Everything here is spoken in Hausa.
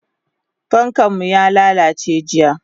Fankanmu yalalace jiya.